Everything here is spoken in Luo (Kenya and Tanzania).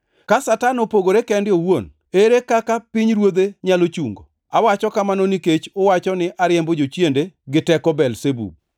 Ka Satan opogore kende owuon, ere kaka pinyruodhe nyalo chungo? Awacho kamano nikech uwacho ni ariembo jochiende gi teko Belzebub.